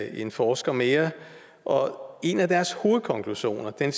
en forsker mere og en af deres hovedkonklusioner er